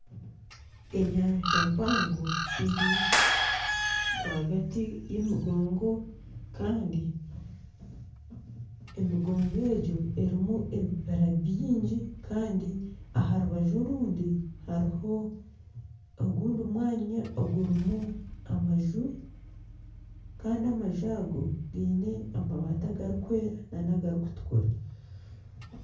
Enyanja mpango eri rwagati y'emigongo Kandi emigongo egyo erimu ebibira byingi Kandi aha rubaju orundi hariho ogundi mwanya ogurimu amaju Kandi amaju ago giine amabati agarikwera nana agarikutukura.